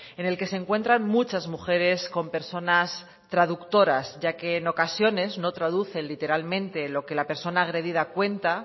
en el que se encuentran muchas mujeres con personas traductoras ya que en ocasiones no traducen literalmente lo que la persona agredida cuenta